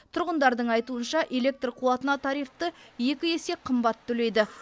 тұрғындардың айтуынша электр қуатына тарифті екі есе қымбат төлейді